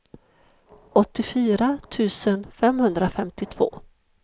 åttiofyra tusen femhundrafemtiotvå